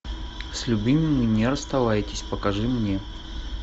с любимыми не расставайтесь покажи мне